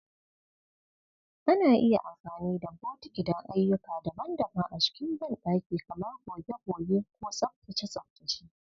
Ana iya amfani da bokiti don ayyuka daban-daban a cikin bandaki, kamar goge-goge ko tsaftace-tsaftace.